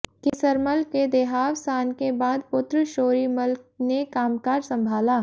केसरमल के देहावसान के बाद पुत्र शोरी मल ने कामकाज संभाला